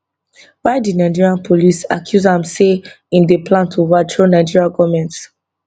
why di nigerian police accuse am say im dey plan to overthrow nigeria goment